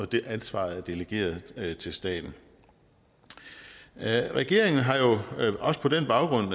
det ansvar er delegeret til staten regeringen har jo også på den baggrund